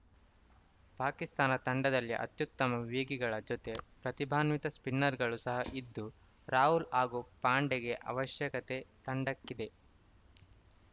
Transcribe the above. ಪಾಕಿಸ್ತಾನ ತಂಡದಲ್ಲಿ ಅತ್ಯುತ್ತಮ ವೇಗಿಗಳ ಜತೆ ಪ್ರತಿಭಾನ್ವಿತ ಸ್ಪಿನ್ನರ್‌ಗಳು ಸಹ ಇದ್ದು ರಾಹುಲ್‌ ಹಾಗೂ ಪಾಂಡೆಗೆ ಅವಶ್ಯಕತೆ ತಂಡಕ್ಕಿದೆ